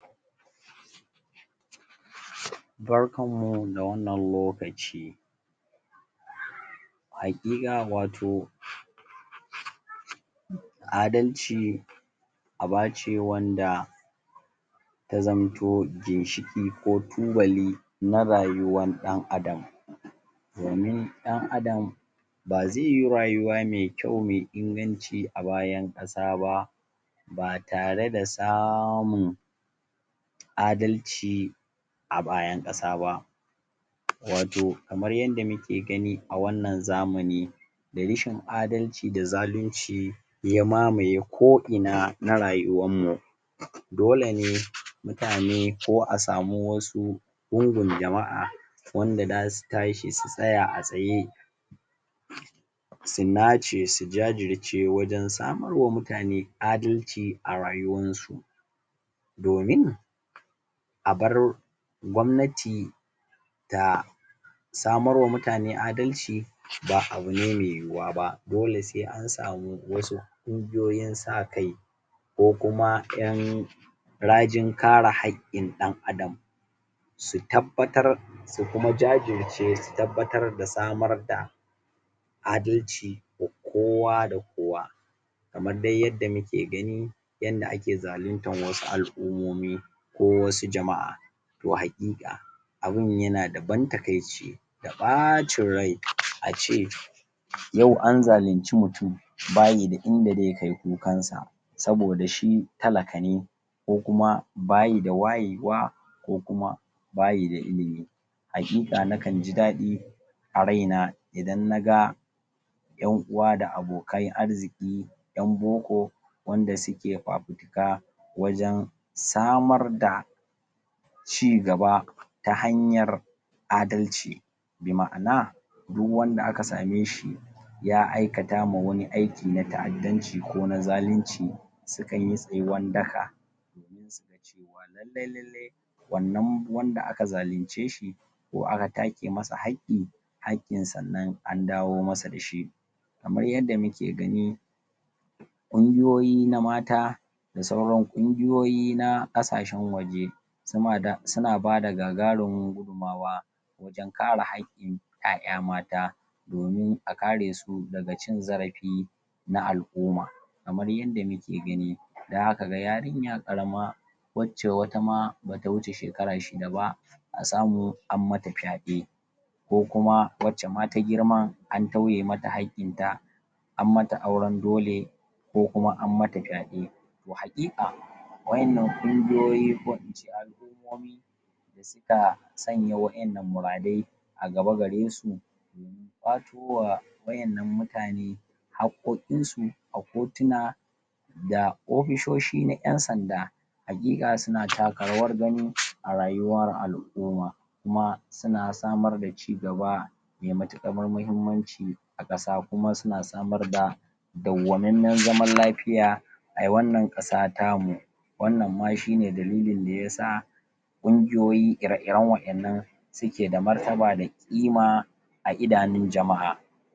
barkan mu da wannan lokaci haƙiƙa wato adalci abace wanda ya zamto ginshiƙi ko tubali na rayuwan ɗan adam domin ɗan adam ba zaiyi rayuwa me kyau me inganci a bayan ƙasa ba ba tare da samun adalci a bayan ƙasa ba wato kamar yanda muke gani a wannan zamani da rishin adalci da zalunci ya mamaye ko ina na rayuwan mu dole ne mutane ko a samu wasu gungun jama'a wanda zasu tashi su tsaya a tsaye su nace su gajirce wajan samauwa mutane adalci a rayuwansu domin a bar gwamnati na samarwa mutane adalci ba abune me yuwuwa ba dole sai ansamu wasu kungiyoyin sakai ko kuma ƴan ragin kare hakkin ɗan adam su tabbatar su kuma jajirce su tabbatar da samar da adalci wa kowa da kowa ka maddai yadda muke gani yanda ake zalintar wasu al'umomi ko wasu jama'a to haƙiƙa abun yana da ban takaice da bacin rai ace yau anzalinci mutun bayi da inda zai kai kukansa saboda shi talaka ne ko kuma bayi da wayewa ko kuma bayi da ilimi haƙiƙa nakan jidaɗi a raina idan naga ƴan uwa da abokan arziki ƴan boko wanda suke ]?] wajan samar da cigaba ta hanyar adalci bi ma'ana du wanda aka sameshi ya aikatama wani aiki na ta'addance ko na zalince sukanyi tsayuwan daka lallai lallai wannan wanda aka zalincd shi ko aka take masa hakki hakkin sannan andawo masa da shi kamar yadda muke gani kungiyoyi na mata da sauran kungiyoyi na ƙasashan waje suna bada gagarumin gudun mawa dan kare hakkin ƴa'ƴa mata domin a karesu daga cikin zarafi na al'uma kamar yanda muke gani da kaga yarinya ƙarama wacce wata ma bata wuce shekara shida ba a samu an mata faɗe ko kuma wacce ma ta girman an tauye mata hakkinta an mata auran dole ko kuma an mata faɗe to haƙiƙa wannan kungiyoyi ko ince al'ummomi na sanya wa ƴannan mura dai a gaba garesu ]?] wa ƴannan mutane hakkokin su a kotuna da ofishoshi na ƴan sanda haƙiƙa suna taka rawar gani a rayuwar al'uma kuma suna samar da cigaba me matuƙar mahimmanci a ƙasa kuma suna samar da dauwamanman zaman lafiya a wannan ƙasa tamu wannan ma shine dalilin da yasa kungiyoyi ire iran wa innan suke da martaba da ƙima a idanon jama'a